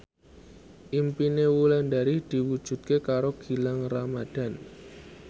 impine Wulandari diwujudke karo Gilang Ramadan